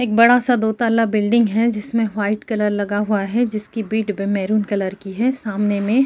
एक बड़ा सा दो ताला बिल्डिंग है जिस में वाइट कलर लगा हुआ है जिसकी बीड भी मेहरून कलर की है सामने में .